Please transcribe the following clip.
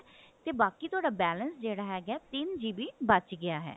ਤੇ ਬਾਕੀ ਥੋਡਾ balance ਜਿਹੜਾ ਹਿਹੈਗਾ ਤਿੰਨ GB ਬਚ ਗਿਆ ਹੈ